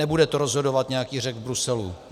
Nebude to rozhodovat nějaký Řek v Bruselu.